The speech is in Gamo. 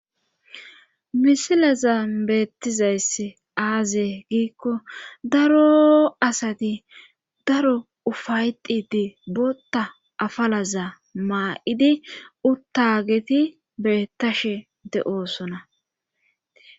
misilaza beettizayss aaze giikko daro asati daro ufayxidi botta afalaza maa7idi uttageti beettashe de7osona